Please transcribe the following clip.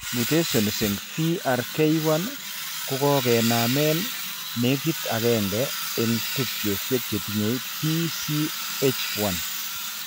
Mutations eng' VRK1 kokokenamen nekit agenge eng' tubchosiek chetinye PCH1